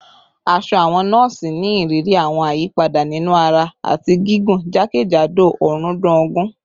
Aṣọ awọn nọọsi ni iriri awọn ayipada ninu ara ati gigun jakejado ọrundun ogun